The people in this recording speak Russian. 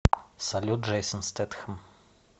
салют джейсн стетхэм